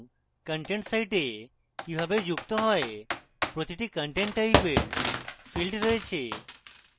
content site কিভাবে যুক্ত has প্রতিটি content টাইপের fields রয়েছে